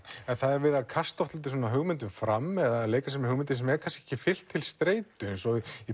en það er verið að kasta oft dálítið hugmyndum fram eða leika sér með hugmyndir sem er kannski ekki fylgt til streitu eins og í